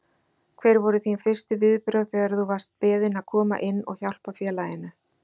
Hver voru þín fyrstu viðbrögð þegar þú varst beðinn að koma inn og hjálpa félaginu?